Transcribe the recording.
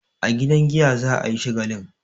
A gidan giya za a yi shagalin.